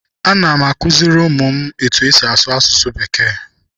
Ana m akụziri ụmụ m etu-esi asụsụ bekee.